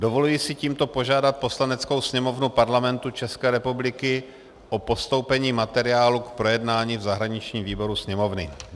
Dovoluji si tímto požádat Poslaneckou sněmovnu Parlamentu České republiky o postoupení materiálu k projednání v zahraničním výboru Sněmovny.